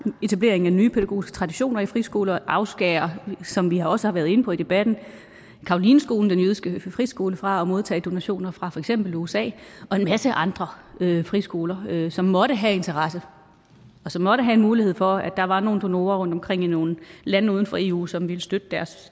etableringen af nye pædagogiske traditioner i friskoler og afskære som vi også har været inde på i debatten carolineskolen den jødiske friskole fra at modtage donationer fra for eksempel usa og en masse andre friskoler som måtte have interesse og som måtte have en mulighed for at der var nogle donorer rundtomkring i nogle lande uden for eu som ville støtte